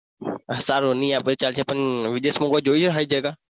સારું નહીં આપે તો ચાલશે પણ વિદેશમાં કોઈ જોઈ છે સારી જગ્યા?